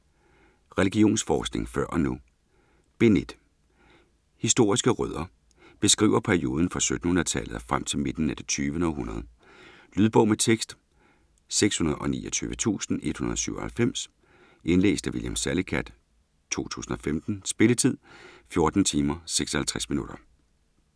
Religionsforskningen før og nu Bind 1. Historiske rødder. Beskriver perioden fra 1700-tallet og frem til midten af det 20. århundrede. Lydbog med tekst 629197 Indlæst af William Salicath, 2015. Spilletid: 14 timer, 56 minutter.